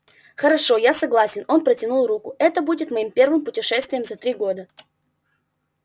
хорошо я согласен он протянул руку это будет моим первым путешествием за три года